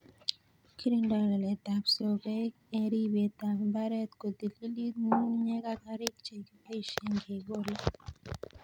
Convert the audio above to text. Kikirindoi lalet ab sogek eng' ribet ap mbaret ko tililit, ng'ung'unyek ak karik che kipaishe kekole